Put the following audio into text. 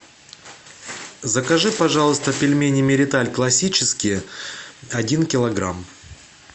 закажи пожалуйста пельмени мириталь классические один килограмм